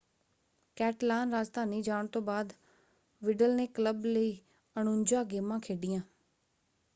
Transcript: ਕੈਟਲਾਨ-ਰਾਜਧਾਨੀ ਜਾਣ ਤੋਂ ਬਾਅਦ ਵਿਡਲ ਨੇ ਕਲੱਬ ਲਈ 49 ਗੇਮਾਂ ਖੇਡੀਆਂ।